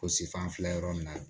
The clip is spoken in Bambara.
Ko sifan filɛ yɔrɔ min na